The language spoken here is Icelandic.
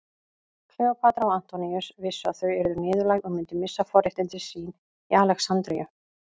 Kleópatra og Antoníus vissu að þau yrðu niðurlægð og myndu missa forréttindi sín í Alexandríu.